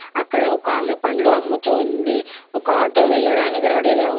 అక్కడ ఒకామె పండ్లు అమ్ముతూ ఉంది. ఒక ఆటో వెళ్ళడానికి రెడీగా ఉంది.